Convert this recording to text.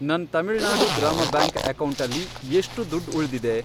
ನನ್ ತಮಿಳ್ನಾಡು ಗ್ರಾಮ ಬ್ಯಾಂಕ್ ಅಕೌಂಟಲ್ಲಿ ಎಷ್ಟ್ ದುಡ್ಡ್ ಉಳ್ದಿದೆ?